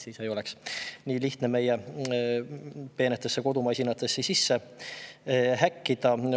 Siis ei oleks nii lihtne meie peenetesse kodumasinatesse sisse häkkida.